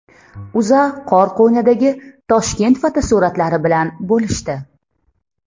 O‘zA qor qo‘ynidagi Toshkent fotosuratlari bilan bo‘lishdi .